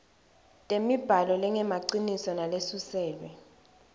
temibhalo lengemaciniso nalesuselwe